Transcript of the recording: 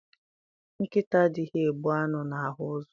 Nkịta adịghị egbu anụ na ahụ ụzọ.